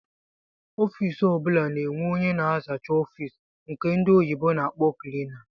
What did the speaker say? Ọffici ọbula na-enwe ónyé na-azacha ọffici nke ndị oyibo na-akpọ"cleaner"